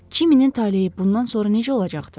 Kiminin taleyi bundan sonra necə olacaqdı?